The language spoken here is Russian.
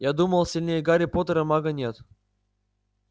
я думаю сильнее гарри поттера мага нет